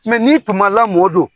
n'i tun ma lamɔ dun?